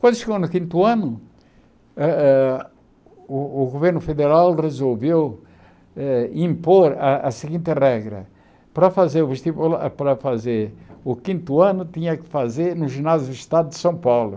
Quando chegou no quinto ano eh eh, o o governo federal resolveu eh impor a a seguinte regra, para fazer o vestibular para fazer o quinto ano tinha que fazer no Ginásio do Estado de São Paulo.